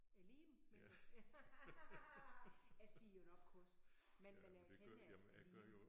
Æ liem? Men jeg siger jo nok kost men men jeg kender at liem